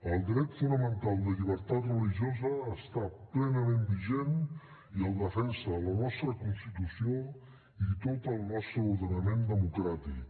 el dret fonamental de llibertat religiosa està plenament vigent i el defensa la nostra constitució i tot el nostre ordenament democràtic